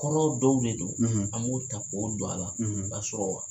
Kɔrɔ dɔw de don, an b'o ta k'o don a la kasɔrɔ